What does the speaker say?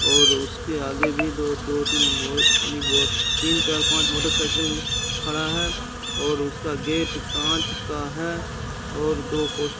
और उसके आगे भी दो दो तीन तीन चार पांच मोटरसाइकिल खड़ा है और उसका गेट कांच का है और दो पो --